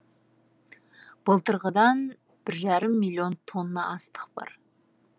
былтырғыдан бір жарым миллион тонна астық бар